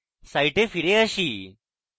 site ফিরে আসি